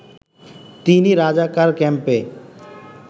তিনি রাজাকার ক্যাম্পে